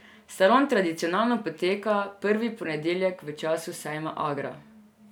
Salon tradicionalno poteka prvi ponedeljek v času sejma Agra.